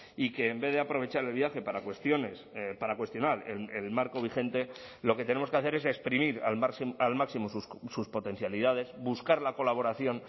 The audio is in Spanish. y que en vez de aprovechar el viaje para cuestiones para cuestionar el marco vigente lo que tenemos que hacer es exprimir al máximo sus potencialidades buscar la colaboración